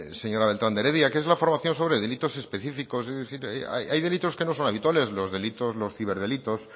señora beltran de heredia que es la formación sobre delitos específicos es decir hay delitos que no son habituales los delitos los ciberdelitos